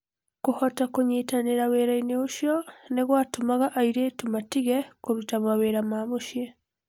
Kũhota kũnyitanĩra wĩra-inĩ ũcio nĩ gwatũmaga airĩtu matige kũruta mawĩra ma mũciĩ.